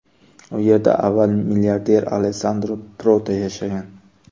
U yerda avval milliarder Alessandro Proto yashagan.